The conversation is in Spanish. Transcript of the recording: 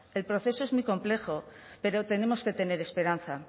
el proceso es muy complejo pero tenemos que tener esperanza